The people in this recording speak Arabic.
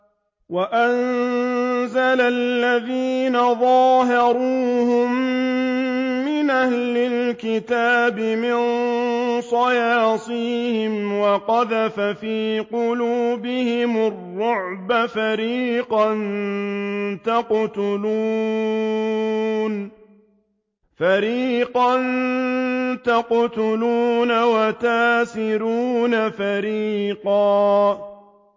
وَأَنزَلَ الَّذِينَ ظَاهَرُوهُم مِّنْ أَهْلِ الْكِتَابِ مِن صَيَاصِيهِمْ وَقَذَفَ فِي قُلُوبِهِمُ الرُّعْبَ فَرِيقًا تَقْتُلُونَ وَتَأْسِرُونَ فَرِيقًا